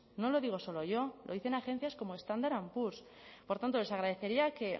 no lo digo solo yo lo dicen agencias como standard poors por tanto les agradecería que